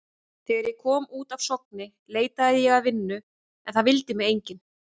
Þegar ég kom út af Sogni leitaði ég að vinnu en það vildi mig enginn.